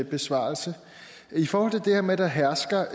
besvarelse i forhold til det her med at der hersker